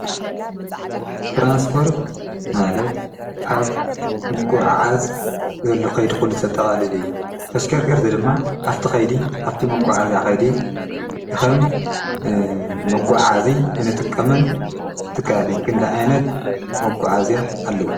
ትራንስጶርት ማለት ኣብ ምጐዓዝ ዘሎ ኸይዲ ዂሉተተቓልል እዩ ተሽከርከርቲ ድማ ኣፍቲ ኸይዲ ኣፍቲ መጐዓ እዚያ ኸይዴ እኸም መጕዓ እዚ እንጥቀመን ትካትን ክንድ ዓይነት መጕዓእዚ ኣለዉ?